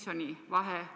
Aitäh, istungi juhataja!